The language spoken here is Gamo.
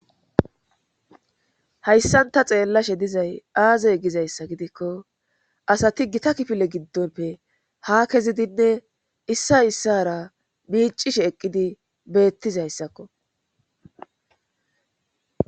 hayssan ta xeellashe dizay aaze gizayssa gidikko asati gita kifile giddonpe ha kezidinne issa issara miicishe eqqidi beettizayssakko